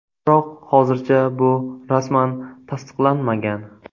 Biroq hozircha bu rasman tasdiqlanmagan.